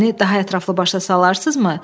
Məni daha ətraflı başa salarsınızmı?